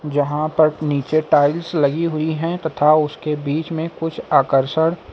जहां पर नीचे टाइल्स लगी हुई हैं तथा उसके बीच में कुछ आकर्षण--